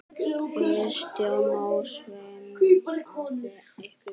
Kristján Már: Svimaði ykkur?